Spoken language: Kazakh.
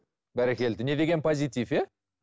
бәрекелді не деген позитив иә